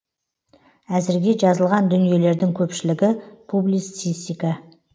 әзірге жазылған дүниелердің көпшілігі публицистика